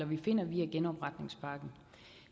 vi finder via genopretningspakken